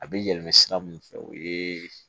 A bɛ yɛlɛma sira min fɛ o ye